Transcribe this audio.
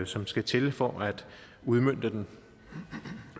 som skal til for at udmønte den